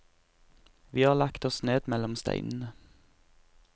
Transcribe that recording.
Vi har lagt oss ned mellom steinene.